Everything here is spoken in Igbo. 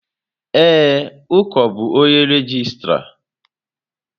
Ee, Uko bụ onye regịstrá.